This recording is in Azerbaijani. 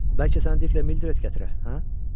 Bəlkə sən Diklə Mildred gətirə, hə?